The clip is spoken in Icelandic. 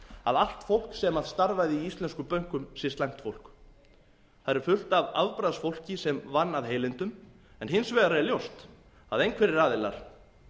að allt fólk sem starfaði í íslenskum bönkum sé slæmt fólk þar er fullt af afbragðsfólki sem vann af heilindum en hins vegar er ljóst að einhverjir aðilar